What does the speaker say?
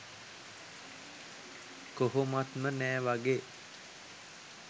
කොහොමත්ම නෑ වගේ.